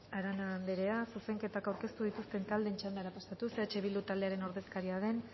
arana anderea zuzenketak aurkeztu dituzten taldeen txandara pasatuz eh bildu taldearen ordezkaria den